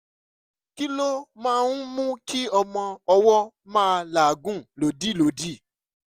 kí ló máa ń mú kí ọmọ ọwọ́ máa làágùn lòdìlòdì?